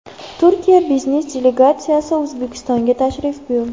Turkiya biznesi delegatsiyasi O‘zbekistonga tashrif buyurdi.